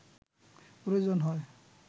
প্রয়োজন হয়